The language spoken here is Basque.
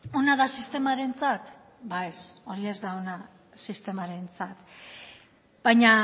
ona da sistemarentzat ez hori ez da ona sistemarentzat baina